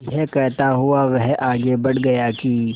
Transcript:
यह कहता हुआ वह आगे बढ़ गया कि